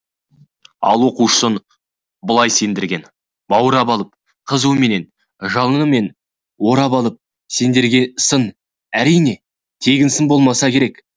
ал оқушысын бұлай сендірген баурап алып қызуымен жалынымен орап алып сендірген сын әрине тегін сын болмаса керек